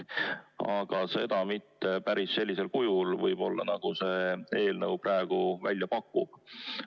Aga seda võib-olla mitte päris sellisel kujul, nagu see eelnõu praegu välja pakub.